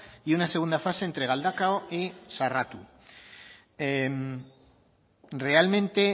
y una segunda fase entre galdakao y sarratu realmente